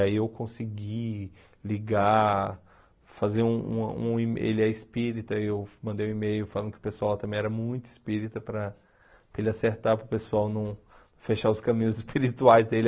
E aí eu consegui ligar, fazer um um um e ele é espírita, eu mandei um e-mail falando que o pessoal também era muito espírita para para ele acertar para o pessoal não fechar os caminhos espirituais dele.